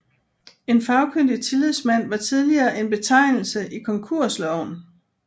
En fagkyndig tillidsmand var tidligere en betegnelse i konkursloven